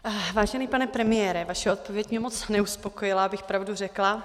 Vážený pane premiére, vaše odpověď mě moc neuspokojila, abych pravdu řekla.